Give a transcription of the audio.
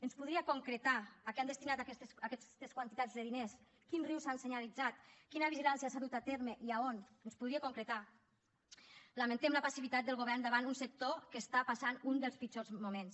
ens podria concretar a què han destinat aquestes quantitats de diners quins rius s’han senyalitzat quina vigilància s’ha dut a terme i a on ens ho podria concretar lamentem la passivitat del govern davant un sector que està passant un dels pitjors moments